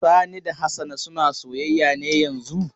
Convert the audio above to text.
Sani da Hassana suna soyayya ne yanzun?